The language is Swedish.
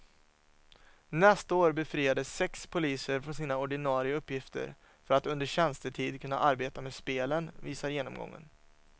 Nästa år befriades sex poliser från sina ordinarie uppgifter för att under tjänstetid kunna arbeta med spelen, visar genomgången.